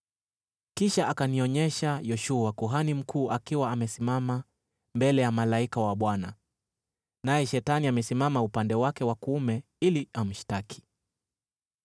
Kisha akanionyesha Yoshua, kuhani mkuu, akiwa amesimama mbele ya malaika wa Bwana , naye Shetani amesimama upande wake wa kuume ili amshtaki.